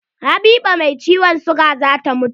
Habiba mai ciwon siga zata mutu.